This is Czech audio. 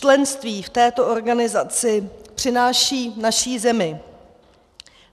Členství v této organizaci přináší naší zemi